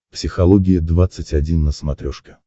психология двадцать один на смотрешке